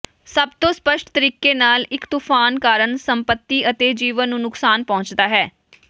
ਸਭ ਤੋਂ ਸਪੱਸ਼ਟ ਤਰੀਕੇ ਨਾਲ ਇਕ ਤੂਫਾਨ ਕਾਰਨ ਸੰਪਤੀ ਅਤੇ ਜੀਵਨ ਨੂੰ ਨੁਕਸਾਨ ਪਹੁੰਚਦਾ ਹੈ